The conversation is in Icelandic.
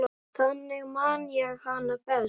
Þannig man ég hana best.